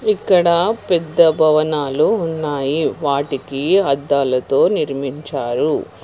ఇక్కడ పెద్ద భవనాలు ఉన్నాయి వాటికి అద్దలతో నిర్మించారు.